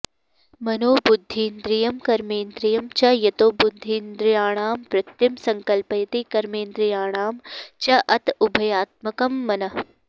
मनो बुद्धीन्द्रियं कर्मेन्द्रियं च यतो बुद्धीन्द्रियाणां वृत्तिं संकल्पयति कर्मेन्द्रियाणां च अत उभयात्मकं मनः